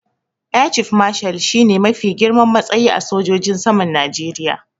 Air Chief Marshal shi ne mafi girman matsayi a sojojin saman Najeriya.